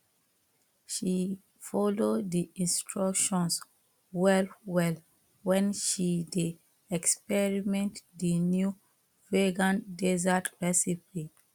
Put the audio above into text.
she follow the instructions well well when she dey experiment the new vegan dessert recipie